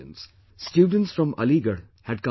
Student from Aligarh had come to meet me